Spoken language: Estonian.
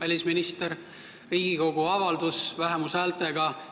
Vähemushäältega Riigikogu avaldus